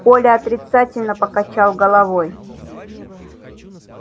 коля отрицательно покачал головой